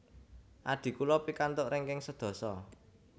Adhi kula pikantuk ranking sedasa